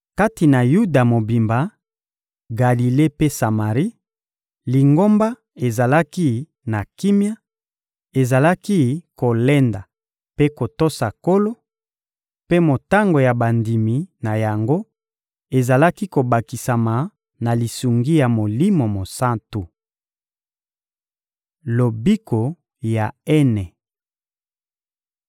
Kati na Yuda mobimba, Galile mpe Samari, Lingomba ezalaki na kimia, ezalaki kolenda mpe kotosa Nkolo, mpe motango ya bandimi na yango ezalaki kobakisama na lisungi ya Molimo Mosantu. Lobiko ya Ene